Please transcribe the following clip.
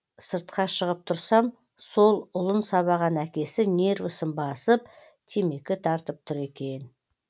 сыртқа шығып тұрсам сол ұлын сабаған әкесі нервысын басып темекі тартып тұр екен